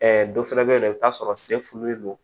dɔ fana bɛ yen nɔ i bɛ t'a sɔrɔ se fulen don